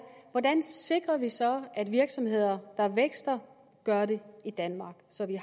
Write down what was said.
hvordan sikrer vi så at virksomheder der vækster gør det i danmark sådan at